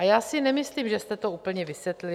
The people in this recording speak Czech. A já si nemyslím, že jste to úplně vysvětlil.